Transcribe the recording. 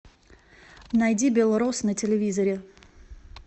найди белрос на телевизоре